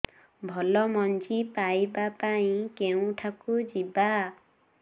ଭଲ ମଞ୍ଜି ପାଇବା ପାଇଁ କେଉଁଠାକୁ ଯିବା